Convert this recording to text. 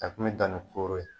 A kun be dan ni koro ye